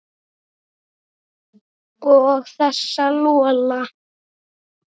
Og þessa Lola.